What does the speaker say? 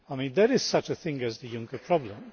There is such a thing as the Juncker problem.